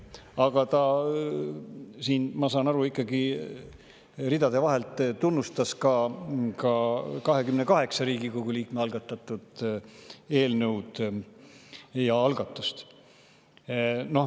Aga ta siin, ma saan aru, ikkagi ridade vahel tunnustas ka 28 Riigikogu liikme algatust ehk algatatud eelnõu.